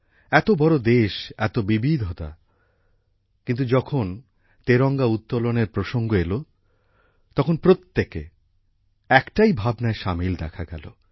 এত বড় দেশ এত বিবিধতা কিন্তু যখন তেরঙ্গা উত্তোলনের প্রসঙ্গ এল তখন প্রত্যেকে একটাই ভাবনায় সামিল দেখা গেল